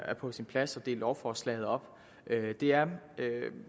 er på sin plads at dele lovforslaget op det er